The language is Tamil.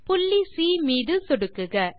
புள்ளி சி மீது சொடுக்குக